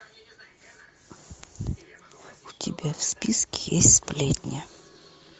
у тебя в списке есть сплетня